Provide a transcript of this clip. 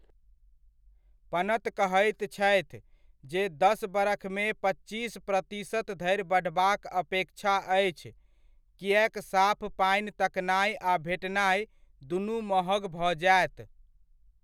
पनत कहैत छथि, जे दस बरखमे पच्चीस प्रतिशत धरि बढ़बाक अपेक्षा अछि, किएक साफ पानि तकनाय आ भेटनाय दुनू महग भऽ जायत।